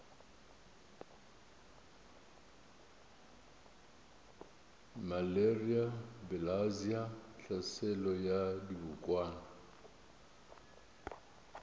malaria bilharzia tlhaselo ya dibokwana